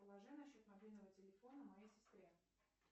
положи на счет мобильного телефона моей сестре